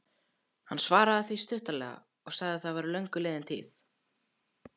Hann svaraði því stuttaralega að það væri löngu liðin tíð.